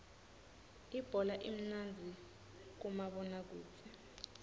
ibhola imnandzi kumabona kudze